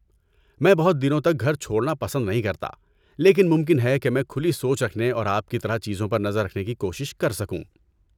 میں بہت دنوں تک گھر چھوڑنا پسند نہیں کرتا لیکن ممکن ہے کہ میں کھلی سوچ رکھنے اور آپ کی طرح چیزوں پر نظر رکھنے کی کوشش کر سکوں۔